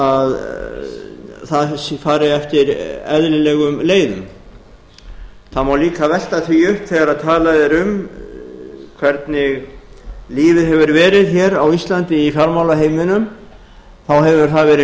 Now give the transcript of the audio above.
að það fari eftir eðlilegum leiðum það má líka velta því upp þegar talað er um hvernig lífið hefur verið hér á íslandi í fjármálaheiminum þá hefur það verið